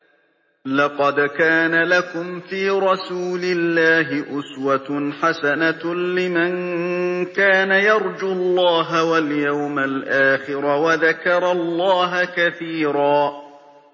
لَّقَدْ كَانَ لَكُمْ فِي رَسُولِ اللَّهِ أُسْوَةٌ حَسَنَةٌ لِّمَن كَانَ يَرْجُو اللَّهَ وَالْيَوْمَ الْآخِرَ وَذَكَرَ اللَّهَ كَثِيرًا